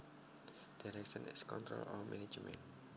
Direction is control or management